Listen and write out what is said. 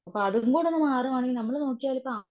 അതുകൂടൊന്നു മറുവാണെങ്കിൽ നമ്മൾ നോക്കിയാലിപ്പം